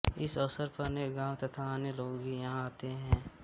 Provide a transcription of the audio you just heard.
इस अवसर पर अनेकों गाँव तथा अन्य लोग भी यहाँ आते है